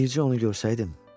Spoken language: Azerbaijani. Bircə onu görsəydim.